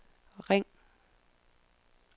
ring